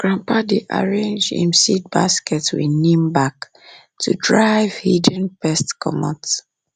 grandpa dey arrange him seed basket with neem bark to drive hidden pests comot